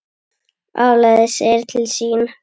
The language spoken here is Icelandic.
Álagið segir til sín.